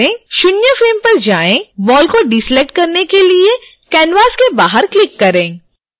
शून्य फ्रेम पर जाएं बॉल को डीसेलेक्ट करने के लिए canvas के बाहर क्लिक करें